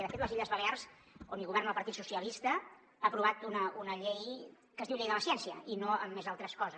de fet les illes balears on hi governa el partit socialista ha aprovat una llei que es diu llei de la ciència i no amb més altres coses